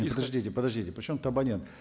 подождите подождите причем тут абонент